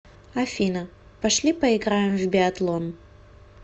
афина пошли поиграем в биатлон